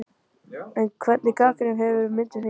En hvernig gagnrýni hefur myndin fengið?